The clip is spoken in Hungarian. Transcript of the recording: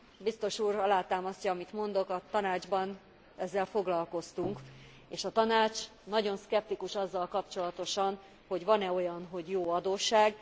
Biztos úr alátámasztja, amit mondok, a Tanácsban ezzel foglalkoztunk, és a Tanács nagyon szkeptikus azzal kapcsolatosan, hogy van e olyan, hogy jó adósság?